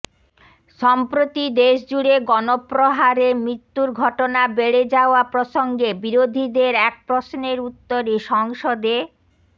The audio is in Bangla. সম্প্রতি দেশজুড়ে গণপ্রহারে মৃত্যুর ঘটনা বেড়ে যাওয়া প্রসঙ্গে বিরোধীদের এক প্রশ্নের উত্তরে সংসদে